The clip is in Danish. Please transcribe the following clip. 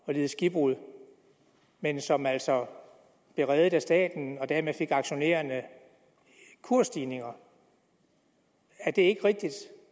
lide skibbrud men som altså blev reddet af staten og dermed fik aktionærerne kursstigninger er det ikke rigtigt